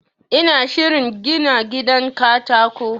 ina shirin gina gidan katako